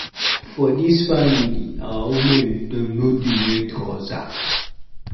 For dis family, our women dem no dey wear trouser.